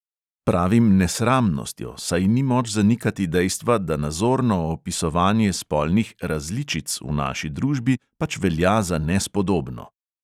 Pravim "nesramnostjo", saj ni moč zanikati dejstva, da nazorno opisovanje spolnih "različic" v naši družbi pač velja za nespodobno.